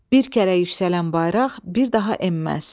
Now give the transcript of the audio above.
Bir kərə yüksələn bayraq bir daha enməz.